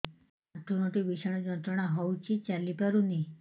ଆଣ୍ଠୁ ଗଣ୍ଠି ଭିଷଣ ଯନ୍ତ୍ରଣା ହଉଛି ଚାଲି ପାରୁନି